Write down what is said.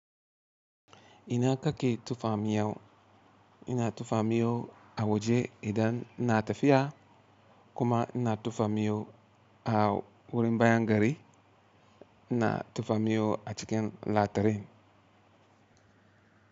Ina ka ke tufamiyo? Ina tufamiyo a waje idan ina tafiya kuma ina tufamiyo a wurin bayan gari, ina tufa miyo a cikin latarin.